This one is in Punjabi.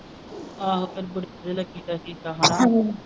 ਆਹੋ